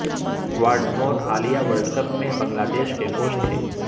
Whatmore حالیہ world cup میں Bangladesh کے کوچ تھے